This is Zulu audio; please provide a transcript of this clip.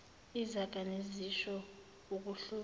izaga nezisho ukuhlobisa